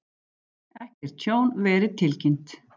Ekkert tjón verið tilkynnt